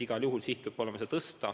Igal juhul peab olema siht seda tõsta.